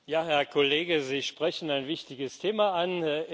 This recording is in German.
Ja, Herr Kollege, Sie sprechen ein wichtiges Thema an.